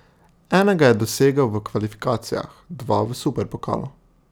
Enega je dosegel v kvalifikacijah, dva v superpokalu.